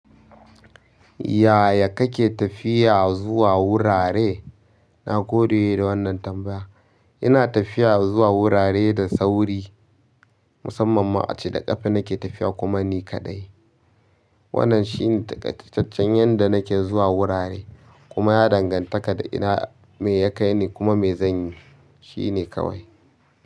Yaya kake tafiya zuwa wurare? Nagode da wannan tambayan. Ina tafiya zuwa wurare da sauri, musamman ma a cike ƙafa nake tafiya kuma ni kaɗai. Wannan shine takaitaccen yanda nake zuwa wurare. Kuma ya ɗan ganta da ina me ya kai ni kuma me zan yi, shine kawai.